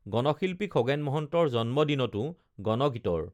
গণশিল্পী খগেন মহন্তৰ জন্মদিনতো গণগীতৰ